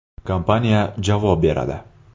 Kompaniya javob beradi.